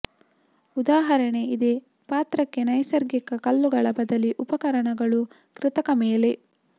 ಉದಾಹರಣೆ ಇದೇ ಪಾತ್ರಕ್ಕೆ ನೈಸರ್ಗಿಕ ಕಲ್ಲುಗಳ ಬದಲಿ ಉಪಕರಣಗಳು ಕೃತಕ ಮೇಲೆ